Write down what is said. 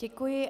Děkuji.